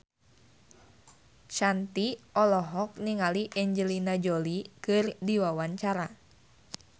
Shanti olohok ningali Angelina Jolie keur diwawancara